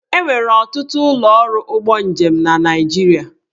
E nwere ọtụtụ ụlọ ọrụ ụgbọ njem na Naịjirịa.